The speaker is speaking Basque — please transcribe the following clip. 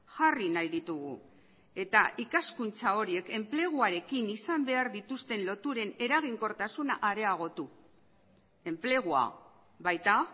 jarri nahi ditugu eta ikaskuntza horiek enpleguarekin izan behar dituzten loturen eraginkortasuna areagotu enplegua baita